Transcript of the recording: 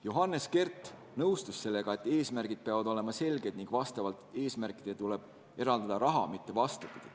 Johannes Kert nõustus sellega, et eesmärgid peavad olema selged ning vastavalt eesmärkidele tuleb eraldada raha, mitte vastupidi.